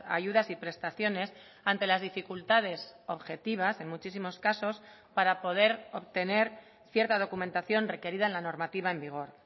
ayudas y prestaciones ante las dificultades objetivas en muchísimos casos para poder obtener cierta documentación requerida en la normativa en vigor